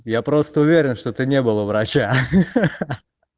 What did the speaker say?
я просто уверен что ты не был у врача ха-ха